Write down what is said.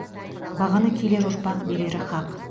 бағаны келер ұрпақ берері хақ